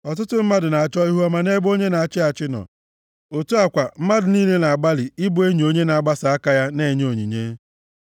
Ọtụtụ mmadụ na-achọ ihuọma nʼebe onye na-achị achị nọ, otu a kwa, mmadụ niile na-agbalị ịbụ enyi onye na-agbasa aka ya na-enye onyinye.